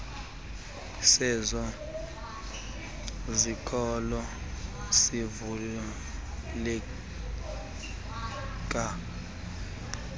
sezo zikolo sivuleleke